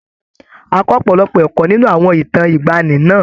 A kọ́ ọ̀pọ̀lọpọ̀ ẹ̀kọ́ nínú àwọn ìtàn ìgbaanì náà.